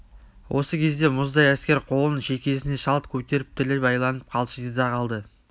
осы кезде мұздай әскер қолын шекесіне шалт көтеріп тілі байланып қалшиды да қалды